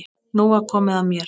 Nú var komið að mér.